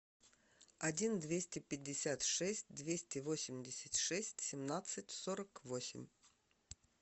один двести пятьдесят шесть двести восемьдесят шесть семнадцать сорок восемь